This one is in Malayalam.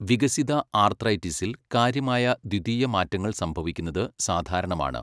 വികസിത ആർത്രൈറ്റിസിൽ കാര്യമായ ദ്വിതീയ മാറ്റങ്ങൾ സംഭവിക്കുന്നത് സാധാരണമാണ്.